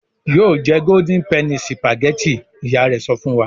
"Yóò jẹ Golden penny sìpàgẹ́tì!" Ìyá rẹ̀ sọ fún wa.